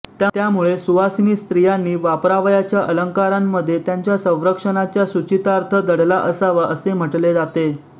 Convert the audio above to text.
त्यामुळे सुवासिनी स्त्रियांनी वापरावयाच्या अलंकारांमध्येही त्यांच्या संरक्षणाचा सूचितार्थ दडला असावा असे म्हटले जाते